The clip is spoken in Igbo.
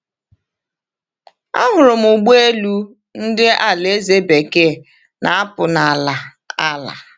Ahụrụ m ụgbọ elu ndị Alaeze Bekee na-apụ n’ala ala.